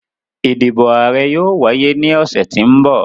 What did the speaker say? Idibo aarẹ yoo waye ni ọsẹ ti n bọ.